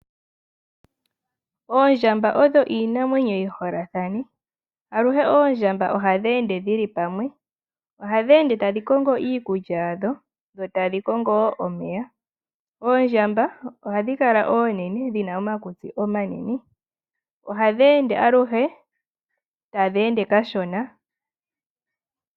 Oondjamba odho iinamwenyo yi holathane. Aluhe oondjamba ohadhi ende dhili pamwe. Ohadhi ende tadhi kongo iikulya yadho dho tadhi kongo wo omeya. Oondjamba ohadhi akala oonene, dhi na omakukutsi omanene. Ohadhi ende aluhe, tadhi ende kashona.